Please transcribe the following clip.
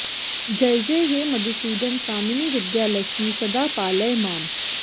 जयजय हे मधुसूदन कामिनि विद्यालक्ष्मि सदा पालय माम्